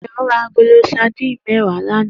Dayo rá àgóló sàdín mèwá làná